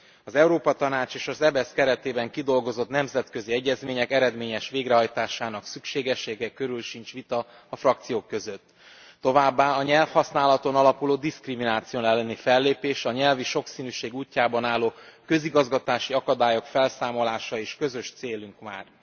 Az Európa Tanács és az EBESZ keretében kidolgozott nemzetközi egyezmények eredményes végrehajtásának szükségessége körül sincs vita a frakciók között, továbbá a nyelvhasználaton alapuló diszkrimináció elleni fellépés, a nyelvi sokszínűség útjában álló közigazgatási akadályok felszámolása is közös célunk már.